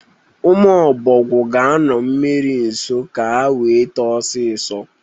ụmụ Ọbọgwụ ga-anọ mmiri nso ka wee too ọsọsọ.